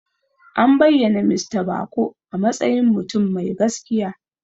An bayyana Mista Bako a matsayin mutum mai gaskiya.